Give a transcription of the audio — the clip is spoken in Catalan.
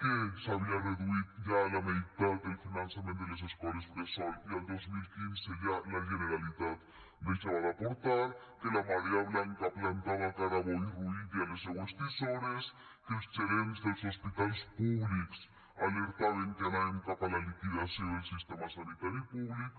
que s’havia reduït ja a la meitat el finançament de les escoles bressol i el dos mil quinze ja la generalitat deixava d’aportar que la marea blanca plantava cara a boi ruiz i a les seues tisores que els gerents dels hospitals públics alertaven que anàvem cap a la liquidació del sistema sanitari públic